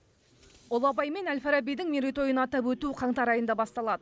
ұлы абай мен әл фарабидің мерейтойын атап өту қаңтар айында басталады